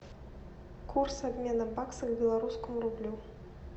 курс обмена бакса к белорусскому рублю